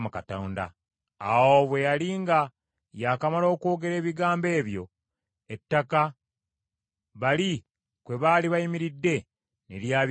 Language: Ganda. Awo bwe yali nga yakamala okwogera ebigambo ebyo, ettaka bali kwe baali bayimiridde ne lyabikamu wabiri,